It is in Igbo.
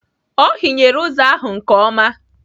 Ọ hinyere ụzọ ahụ nke ọma.